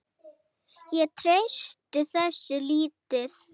Ég treysti þessu lítið.